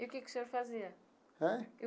E o que que o senhor fazia? Ãh?